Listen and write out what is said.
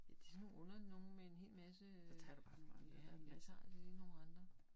Det sådan nogle underlige nogle med en masse øh ja jeg tager da lige nogle andre